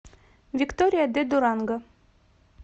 виктория де дуранго